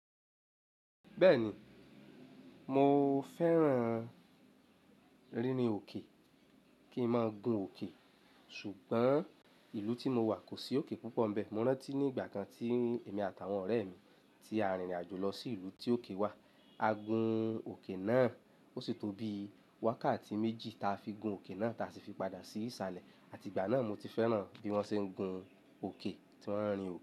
Bẹ́ẹ̀ni, mo fẹ́ràn rírīn òkè kí n máa gun òkè, ṣùgbọ́n ìlú tí mo wà kò sí òkè púpọ̀ bẹ́ẹ̀. Mo rántí ní ìgbà kan tí èmi àtàwọn ọ̀rẹ́ mi tí a rìnrìn àjò lọ sí ìlú tí òkè wà, a gun òkè náà ó sì tóbi wákàtí méjì ta fi gun òkè náà ta sì fi padà sí ìsàlẹ̀. Àti ìgbà náà mo ti fẹ́ràn bí wọ́n ṣe ń gun òkè tí wọ́n ń rìnrìn àjò.